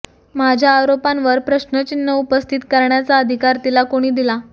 माझ्या आरोपांवर प्रश्नचिन्ह उपस्थित करण्याचा अधिकार तिला कोणी दिला